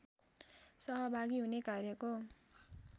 सहभागी हुने कार्यको